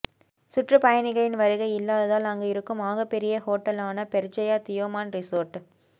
சுற்றுப்பயணிகளின் வருகை இல்லாததால் அங்கு இருக்கும் ஆகப் பெரிய ஹோட்டலான பெர்ஜயா தியோமான் ரிசோர்ட்